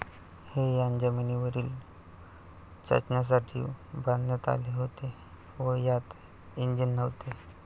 हे यान जमिनीवरील चाचण्यांसाठी बांधण्यात आले होते व यात इंजिन नव्हते.